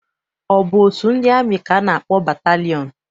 Ọ bụ otu ndị amị ka a na-akpọ batalịọn?